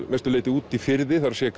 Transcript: mestu leyti úti í firði það er